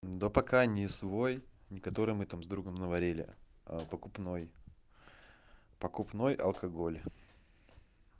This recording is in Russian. да пока не свой не который мы там с другом наварили а покупной покупной алкоголь